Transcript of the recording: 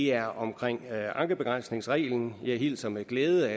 er omkring ankebegrænsningsreglen jeg hilser med glæde